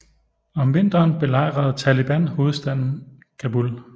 Om vinteren belejrede Taliban hovedstaden Kabul